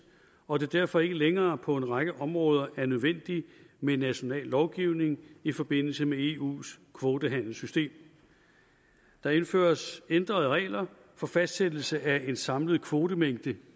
og at det derfor ikke længere på en række områder er nødvendigt med en national lovgivning i forbindelse med eus kvotehandelssystem der indføres ændrede regler for fastsættelse af en samlet kvotemængde